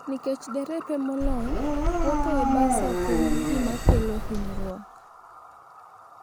Nikech derepe molony, wuotho e bas ok en gima kelo hinyruok.